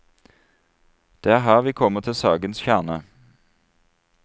Det er her vi kommer til sakens kjerne.